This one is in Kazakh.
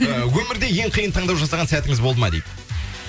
ыыы өмірде ең қиын таңдау жасаған сәтіңіз болды ма дейді